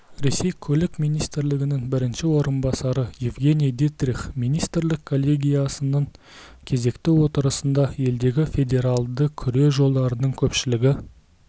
ресей көлік министрінің бірінші орынбасары евгений дитрих министрлік коллегиясының кезекті отырысында елдегі федералды күре жолдардың көпшілігі